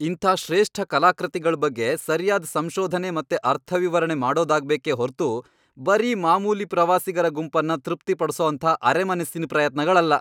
ಇಂಥ ಶ್ರೇಷ್ಠ ಕಲಾಕೃತಿಗಳ್ ಬಗ್ಗೆ ಸರ್ಯಾದ್ ಸಂಶೋಧನೆ ಮತ್ತೆ ಅರ್ಥವಿವರಣೆ ಮಾಡೋದಾಗ್ಬೇಕೇ ಹೊರ್ತು ಬರೀ ಮಾಮೂಲಿ ಪ್ರವಾಸಿಗರ ಗುಂಪನ್ನ ತೃಪ್ತಿಪಡ್ಸೋಂಥ ಅರೆಮನಸ್ಸಿನ್ ಪ್ರಯತ್ನಗಳಲ್ಲ.